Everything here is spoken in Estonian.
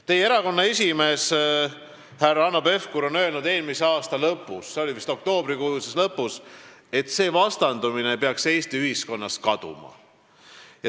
Teie erakonna esimees härra Hanno Pevkur on öelnud eelmise aasta lõpus, see oli vist oktoobrikuus, et selline vastandumine peaks Eesti ühiskonnas kaduma.